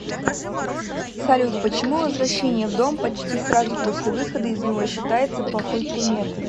салют почему возвращение в дом почти сразу после выхода из него считается плохой приметой